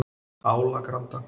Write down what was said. Álagranda